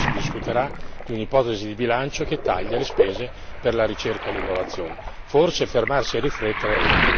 E' un po' singolare che nelle prossime ore qui si discuterà di un ipotesi di bilancio che taglia le spese per la ricerca e l'innovazione.